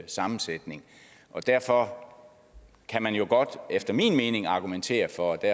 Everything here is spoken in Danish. sammensætning og derfor kan man jo godt efter min mening argumentere for at